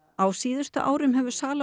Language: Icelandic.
á síðustu árum hefur sala á